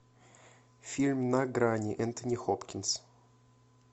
фильм на грани энтони хопкинс